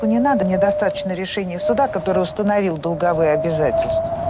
не надо мне достаточно решение суда которую установил долговые обязательства